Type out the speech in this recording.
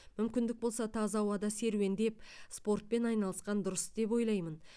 мүмкіндік болса таза ауада серуендеп спортпен айналысқан дұрыс деп ойлаймын